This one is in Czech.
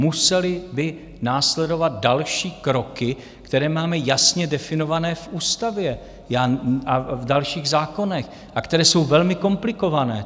Musely by následovat další kroky, které máme jasně definované v ústavě a v dalších zákonech a které jsou velmi komplikované.